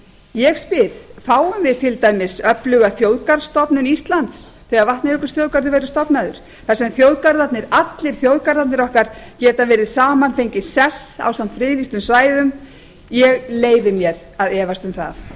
ég spyr fáum við til dæmis öfluga þjóðgarðsstofnun íslands þegar vatnajökulsþjóðgarður verður stofnaður þar sem allir þjóðgarðarnir okkar geta verið saman fengið sess ásamt friðlýstum svæðum ég leyfi mér að efast um það